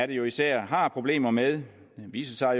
det jo især er har problemer med viser